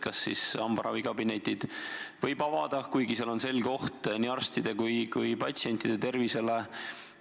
Kas hambaravikabinetid võib avada, kuigi seal on selge oht nii arstide kui ka patsientide tervisele?